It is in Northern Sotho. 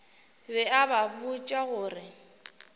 be a ba botša gore